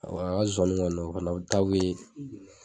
a ka sonsonnin kɔni o fana ta bɛ